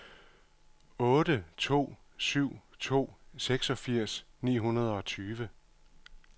otte to syv to seksogfirs ni hundrede og tyve